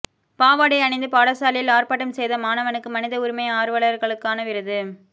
பாவாடை அணிந்து பாடசாலையில் ஆர்பாட்டம் செய்த மாணவனுக்கு மனித உரிமை ஆர்வலர்களுக்கான விருது